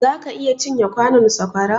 zaka iya cin ye kwanon saƙwara?